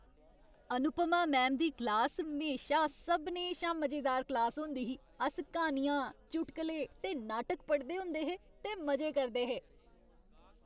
Anupama ma'am दी class म्हेशा सभनें शा मजेदार क्लास होंदी ही। अस क्हानियां, चुटकुले ते नाटक पढ़दे होंदे हे ते मजे करदे हे।